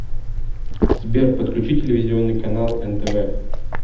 сбер подключи телевизионный канал нтв